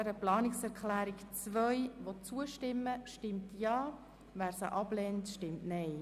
Wer dieser Planungserklärung zustimmt stimmt Ja, wer diese ablehnt, stimmt Nein.